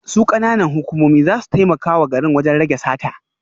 Su kananan hukumomi za su taimaka wa garin wajen rage sata